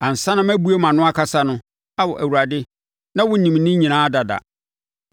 Ansa na mɛbue mʼano akasa no Ao Awurade, na wonim ne nyinaa dada.